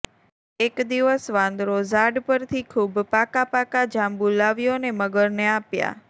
એક દિવસ વાંદરો ઝાડ પરથી ખૂબ પાકાં પાકાં જાંબુ લાવ્યો ને મગરને આપ્યાં